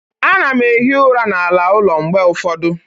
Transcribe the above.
Ana m ehi ụra n'ala ụlọ mgbe ụfọdụ